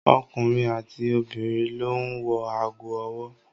Ọkùnrin àti obìnrin ló ń wọ ago ọwọ́.